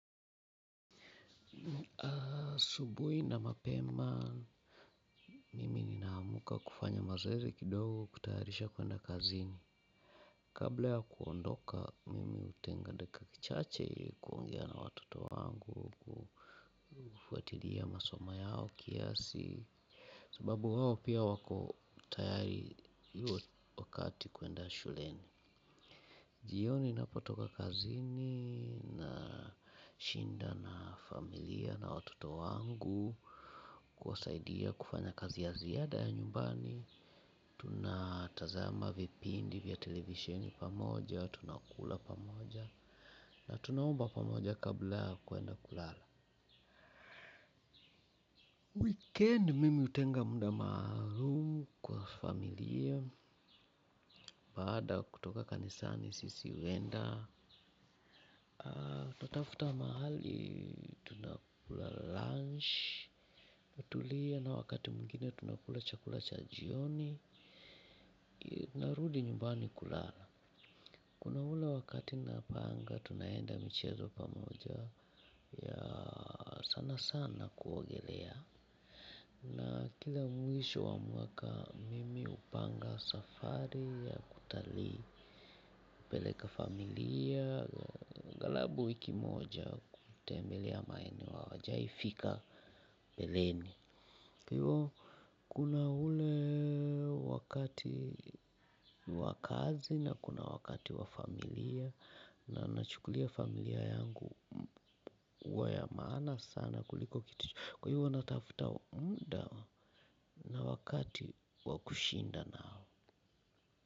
Asubuhi na mapema, mimi nina amka kufanya mazoezi kidogo kutayarisha kuenda kazini. Kabla ya kuondoka, mimi hutenga dakika chache ili kuongea na watoto wangu. Kufuatilia masoma yao kiasi sababu hao pia wako tayari hiyo wakati kuenda shuleni. Jioni napotoka kazini na shinda na familia na watoto wangu. Kuwa saidia kufanya kazi ya ziada ya nyumbani tuna tazama vipindi vya televisheni pamoja. Tunakula pamoja. Na tunaomba pamoja kabla kuenda kulala Kendi mimi hutenga muda maalum kwa familia. Baada kutoka kanisani sisi huenda tunatafuta mahali tunakula lunch. Tunatulia na wakati mwingine tunakula chakula cha jioni. Narudi nyumbani kulala. Kuna ule wakati na panga. Tunaenda michezo pamoja. Ya sana sana Kuogelea. Na kila mwisho wa mwaka mimi hupanga safari ya kutali peleka familia aghalabu wiki moja kutembelea maeneo hawajawahi fika mbeleni kwa hivyo kuna ule wakati wa kazi na kuna wakati wa familia na ninachukulia familia yangu huwa ya maana sana kuliko kitu chochote kwa hivyo natafuta muda na wakati wa kushinda nao.